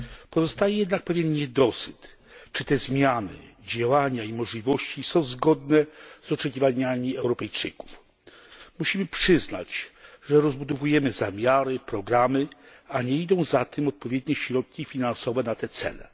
Pozostaje jednak pewien niedosyt, czy te zmiany, działania i możliwości są zgodne z oczekiwaniami Europejczyków. Musimy przyznać, że rozbudowujemy zamiary, programy, ale nie idą za tym odpowiednie środki finansowe na te cele.